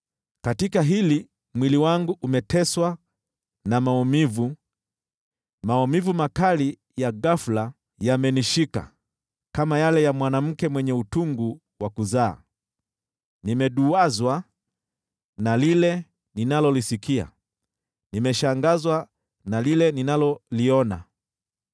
Katika hili mwili wangu umeteswa na maumivu, maumivu makali ya ghafula yamenishika, kama yale ya mwanamke mwenye utungu wa kuzaa. Nimeduwazwa na lile ninalolisikia, nimeshangazwa na lile ninaloliona.